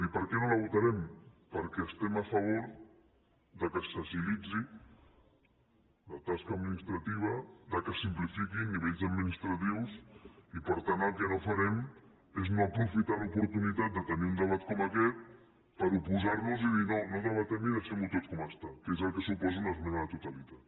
i per què no la votarem perquè estem a favor que s’agilitzi la tasca administrativa que se simplifiquin nivells administratius i per tant el que no farem és no aprofitar l’oportunitat de tenir un debat com aquest per oposar nos i dir no no debatem i deixem ho tot com està que és el que suposa una esmena a la totalitat